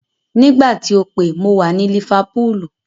Nígbà tí o pè mo wà ní lífápúlù.